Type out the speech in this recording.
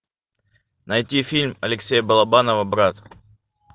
найти фильм алексея балабанова брат